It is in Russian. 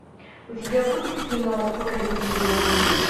у тебя будет кино покорители волн